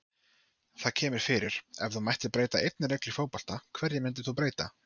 Það kemur fyrir Ef þú mættir breyta einni reglu í fótbolta, hverju myndir þú breyta?